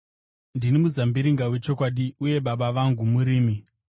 “Ndini muzambiringa wechokwadi, uye Baba vangu murimi.